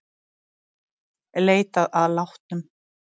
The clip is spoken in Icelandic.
Leitað að látnum